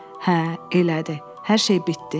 "Hə, elədi, hər şey bitdi."